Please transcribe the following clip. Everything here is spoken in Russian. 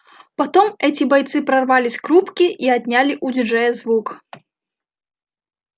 потом эти бойцы прорвались к рубке и отняли у диджея звук